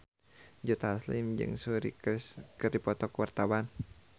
Joe Taslim jeung Suri Cruise keur dipoto ku wartawan